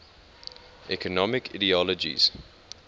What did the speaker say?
economic ideologies